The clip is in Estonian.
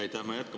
Aitäh!